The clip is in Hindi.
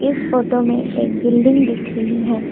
इस फोटो में एक बिल्डिंग दिख रही है।